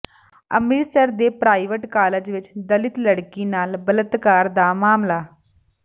ਅੰਮ੍ਰਿਤਸਰ ਦੇ private college ਵਿੱਚ ਦਲਿਤ ਲੜਕੀ ਨਾਲ ਬਲਤਕਾਰ ਦਾ ਮਾਮਲਾ